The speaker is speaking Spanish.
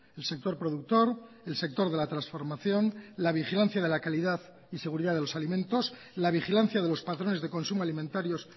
el sector productor el sector de la transformación la vigilancia de la calidad y seguridad de los alimentos la vigilancia de los patrones de consumo alimentarios